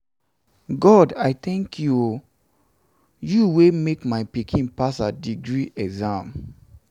god i tank you o you wey make my pikin pikin pass her degree exam.